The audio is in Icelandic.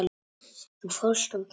Þú fórst svo snöggt.